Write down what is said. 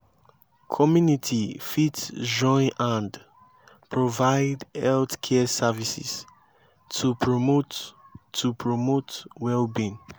community fit join hand provide health care services to promote to promote well being